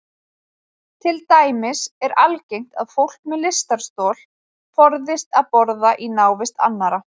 Til dæmis er algengt að fólk með lystarstol forðist að borða í návist annarra.